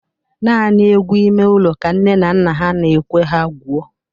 Nani egwu ịme ụlọ ka nne na nna ha n'ekwe ha gwuo